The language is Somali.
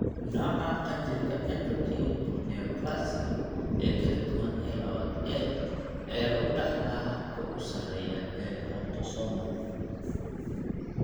Nooca qanjirka 'endocrine neoplasia' ee kala duwan ee lawad A (MEN two A) ayaa lagu dhaxlaa habka ugu sarreeya ee autosomal.